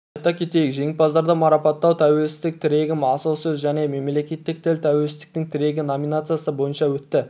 айта кетейік жеңімпаздарды марапаттау тәуелсіздік тірегім асыл сөз және мемлекеттік тіл тәуелсіздіктің тірегі номинациясы бойынша өтті